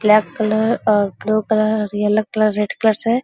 black colour और blue colour और yellow colour red colour से --